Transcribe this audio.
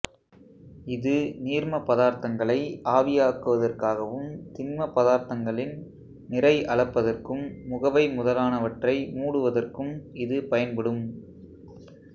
இது நீர்மப் பதார்த்தங்களை ஆவியாக்குவதற்காகவும் திண்மப் பதார்த்தங்களின் நிறை அளப்பதற்கும் முகவை முதலானவற்றை மூடுவதற்கும் இது பயன்படும்